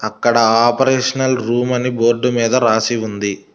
అక్కడ operational room అని board మీద రాసి ఉంది.